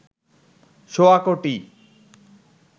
সোয়া কোটি